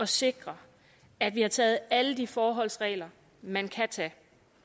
sikre at vi har taget alle de forholdsregler man kan tage